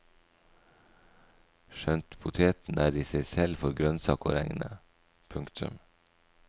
Skjønt poteten er i seg selv for grønnsak å regne. punktum